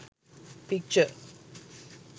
picture